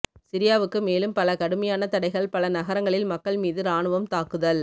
சிரியாவுக்கு மேலும் பல கடுமையான தடைகள் பல நகரங்களில் மக்கள் மீது ராணுவம் தாக்குதல்